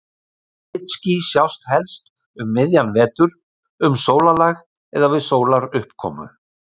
Glitský sjást helst um miðjan vetur, um sólarlag eða við sólaruppkomu.